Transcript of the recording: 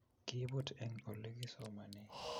Kiibut eng Ole kisomanee